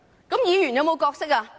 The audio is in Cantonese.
那麼議員有何角色？